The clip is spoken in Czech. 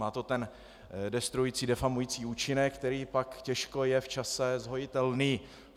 Má to ten destruující, difamující účinek, který pak těžko je v čase zhojitelný.